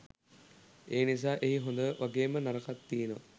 එනිසා එහි හොඳ වගේම නරකත් තියනවා